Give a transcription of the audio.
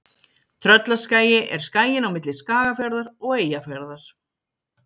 Tröllaskagi er skaginn á milli Skagafjarðar og Eyjafjarðar.